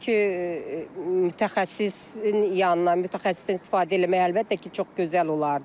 Çünki mütəxəssisin yanına, mütəxəssisdən istifadə eləmək əlbəttə ki, çox gözəl olardı.